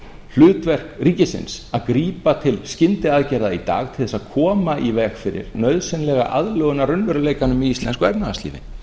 hlutverk ríkisins að grípa til skyndiaðgerða í dag til þess að koma í veg fyrir nauðsynlega aðlögun að raunveruleikanum í íslensku efnahagslífi